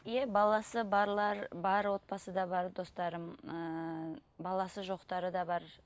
иә баласы барлар бар отбасы да бар достарым ыыы баласы жоқтары да бар